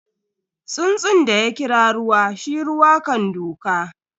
Tsuntsun da ya kira ruwa, shi ruwa kan duka.